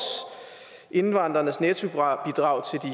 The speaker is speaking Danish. indvandreres nettobidrag